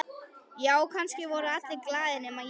Já, kannski voru allir glaðir nema ég.